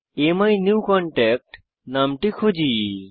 অ্যামিনিউকনট্যাক্ট নামটি খুঁজি